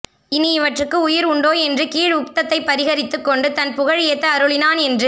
இனி இவற்றுக்கு உயிர் உண்டோ என்று கீழ் உக்த்தத்தைப் பரிஹரித்துக் கொண்டு தன் புகழ் ஏத்த அருளினான் என்று